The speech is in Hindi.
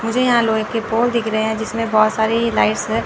मुझे यहां लोहे की पोल दिख रहे हैं जिसमें बहोत सारी लाइट्स है।